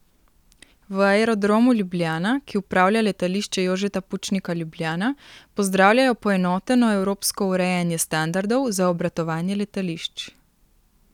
V Aerodromu Ljubljana, ki upravlja Letališče Jožeta Pučnika Ljubljana, pozdravljajo poenoteno evropsko urejanje standardov za obratovanje letališč.